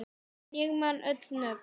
En ég man öll nöfn.